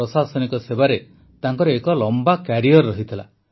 ପ୍ରଶାସନିକ ସେବାରେ ତାଙ୍କର ଏକ ଲମ୍ବା କ୍ୟାରିୟର୍ ରହିଥିଲା